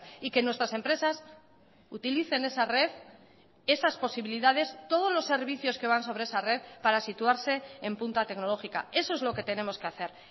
y que nuestras empresas utilicen esa red esas posibilidades todos los servicios que van sobre esa red para situarse en punta tecnológica eso es lo que tenemos que hacer